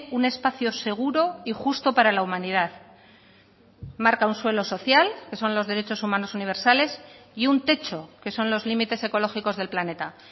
un espacio seguro y justo para la humanidad marca un suelo social que son los derechos humanos universales y un techo que son los límites ecológicos del planeta